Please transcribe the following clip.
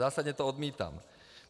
Zásadně to odmítám.